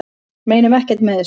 Meinum ekkert með þessu